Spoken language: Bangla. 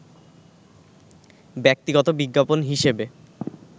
ব্যক্তিগত বিজ্ঞাপন হিসেবে